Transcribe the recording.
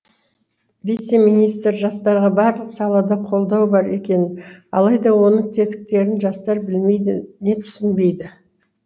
вице министр жастарға барлық салада қолдау бар екенін алайда оның тетіктерін жастар білмейді не түсінбейді